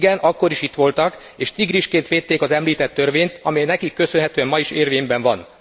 Igen, akkor is itt voltak, és tigrisként védték az említett törvényt, amely nekik köszönhetően ma is érvényben van.